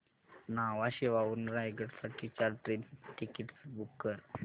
न्हावा शेवा वरून रायगड साठी चार ट्रेन टिकीट्स बुक कर